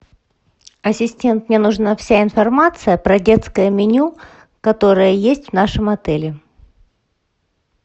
ассистент мне нужна вся информация про детское меню которое есть в нашем отеле